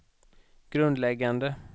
grundläggande